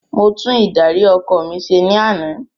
Mo tún ìdarí ọkọ̀ mi se ní ana